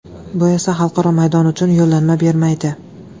Bu esa xalqaro maydon uchun yo‘llanma bermaydi.